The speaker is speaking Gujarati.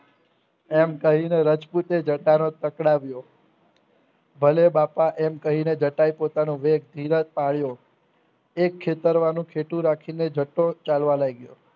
એમ કહીને રજપૂતે જતાંરો પકડાવ્યો ભલે બાપા એમ કહીને જટાએ પોતાનો વેગ ધીરે પડ્યો એક ખેતર માનું કહેતું રાખીને જતો ચાલવા લાગ્યો